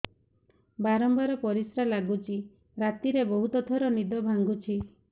ବାରମ୍ବାର ପରିଶ୍ରା ଲାଗୁଚି ରାତିରେ ବହୁତ ଥର ନିଦ ଭାଙ୍ଗୁଛି